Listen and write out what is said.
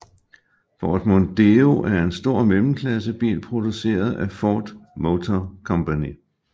Ford Mondeo er en stor mellemklassebil produceret af Ford Motor Company